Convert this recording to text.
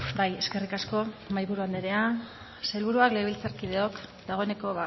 bai eskerrik asko mahaiburu andrea sailburuak legebiltzarkideok dagoeneko